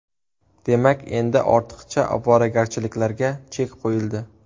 Demak, endi ortiqcha ovoragarchiliklarga chek qo‘yildi.